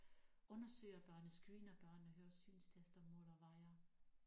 Undersøger børnene screener børnene høre synstester måler vejer